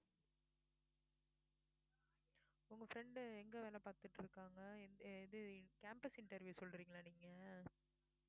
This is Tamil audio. உங்க friend எங்க வேலை பாத்துட்டு இருக்காங்க எந்த எது campus interview சொல்றிங்களா நீங்க